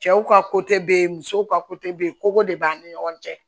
Cɛw ka bɛ yen musow ka bɛ yen kogo de b'an ni ɲɔgɔn cɛ